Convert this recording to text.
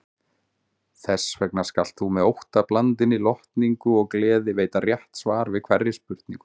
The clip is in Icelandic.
Þessvegna skalt þú með óttablandinni lotningu og gleði veita rétt svar við hverri spurningu.